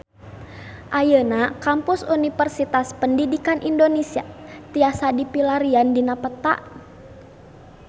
Ayeuna Kampus Universitas Pendidikan Indonesia tiasa dipilarian dina peta